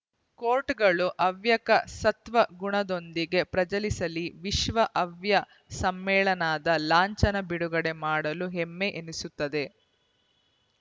ಕೋಟ್‌ಗಳು ಹವ್ಯಕ ಸತ್ವ ಗುಣದೊಂದಿಗೆ ಪ್ರಜಲಿಸಲಿ ವಿಶ್ವ ಹವ್ಯಕ ಸಮ್ಮೇಳನದ ಲಾಂಛನ ಬಿಡುಗಡೆ ಮಾಡಲು ಹೆಮ್ಮೆ ಎನಿಸುತ್ತದೆ